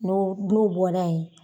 No n'u bɔra ye